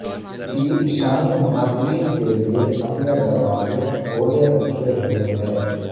ترکی شامی مہاجرین کے لیے اپنے دروازے کھولے رکھے ہوئے ہے